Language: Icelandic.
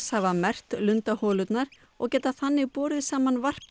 hafa merkt og geta þannig borið saman varp